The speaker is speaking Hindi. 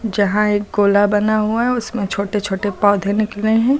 जहां एक गोला बना हुआ है उसमें छोटे छोटे पौधे निकले हैं।